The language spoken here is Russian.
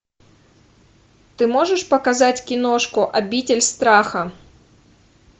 ты можешь показать киношку обитель страха